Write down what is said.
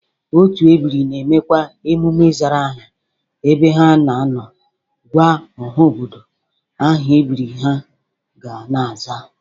Otu ebiri na-emekwa emume ịzara aha ebe ha na-anọ gwa ọha obodo aha ebiri ha ga na-aza